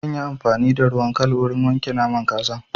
Zan yi amfani da ruwan kal wurin wanke naman kazar.